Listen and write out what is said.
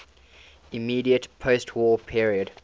immediate postwar period